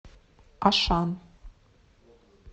ашан